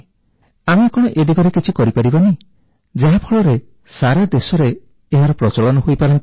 ଆମେ କଣ ଏ ଦିଗରେ କିଛି କରିପାରିବାନି ଯାହାଫଳରେ ସାରାଦେଶରେ ଏହାର ପ୍ରଚଳନ ହୋଇପାରନ୍ତା